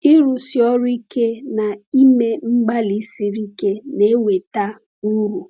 Ịrụsi ọrụ ike na ime mgbalị siri ike na-eweta uru.